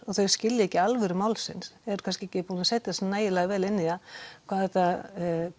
og þau skilja ekki alvöru málsins eru kannski ekki búin að setja sig nægilega vel inn í það hvað þetta